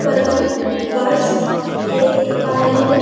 Colouring birds देख पा रहे है।